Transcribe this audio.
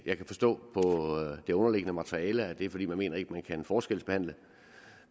jeg kan forstå på det underliggende materiale at det er fordi man ikke mener at man kan forskelsbehandle